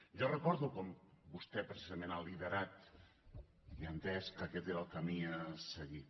jo recordo com vostè precisament ha liderat i ha entès que aquest era el camí a seguir